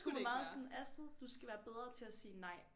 Hun var meget sådan Astrid du skal være bedre til at sige nej